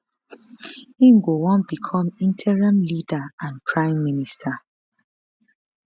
im go wan become interim leader and prime minister